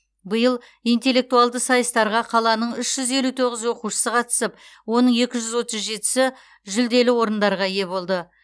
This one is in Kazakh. биыл интеллектуалды сайыстарға қаланың үш жүз елу тоғыз оқушысы қатысып оның екі жүз отыз жетісі жүлделі орындарға ие болды